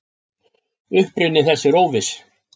Uppruni þess er óviss.